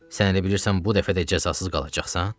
Sən elə bilirsən bu dəfə də cəzasız qalacaqsan?